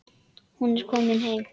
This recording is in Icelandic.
Hún var komin heim.